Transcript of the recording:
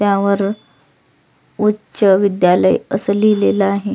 त्यावर उच्च विद्यालय असं लिहिलेल आहे.